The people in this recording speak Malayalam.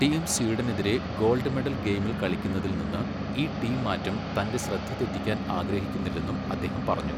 ടീം സ്വീഡനെതിരെ ഗോൾഡ് മെഡൽ ഗെയിമിൽ കളിക്കുന്നതിൽ നിന്ന് ഈ ടീംമാറ്റം തന്റെ ശ്രദ്ധ തെറ്റിക്കാൻ ആഗ്രഹിക്കുന്നില്ലെന്നും അദ്ദേഹം പറഞ്ഞു.